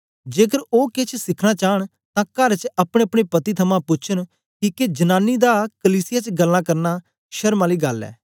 जेकर ओ केछ सीखना चांन तां कर च अपनेअपने पति थमां पूछन किके जनांनी दा कलीसिया च गल्लां करना शर्म आली गल्ल ऐ